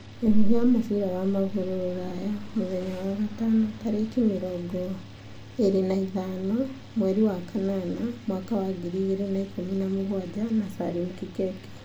Mĩhuhu ya mũbira wa magũrũ Rũraya mũthenya wa gatano 25.08.2017 na Salim Kikeke.